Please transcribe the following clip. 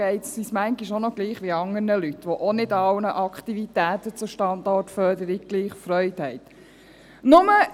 Da geht es uns manchmal auch gleich wie anderen Leuten, die auch nicht an allen Aktivitäten zur Standortförderung gleich viel Freude haben.